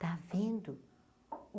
Tá vendo?